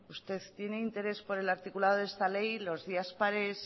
usted tiene interés en el articulado de esta ley los días pares